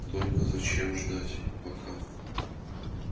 только зачем ждать пока